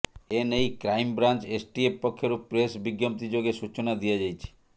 ଏନେଇ crime branch STF ପକ୍ଷରୁ press ବିଜ୍ଞପ୍ତି ଯୋଗେ ସୂଚନା ଦିଆଯାଇଛି